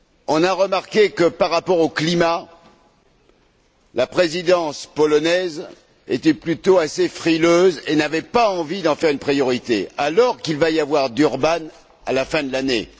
On a remarqué, que par rapport au climat, la présidence polonaise était plutôt frileuse et n'avait pas envie d'en faire une priorité, alors qu'il va y avoir Durban à la fin de l'année.